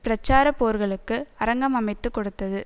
பிரச்சார போர்களுக்கு அரங்கம் அமைத்து கொடுத்தது